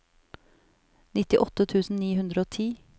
nittiåtte tusen ni hundre og ti